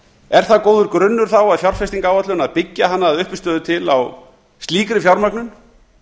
er það góður grunnur þá að fjárfestingaráætlun að byggja hana að uppistöðu til á slíkri fjármögnun